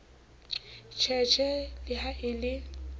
sheshe le ha e le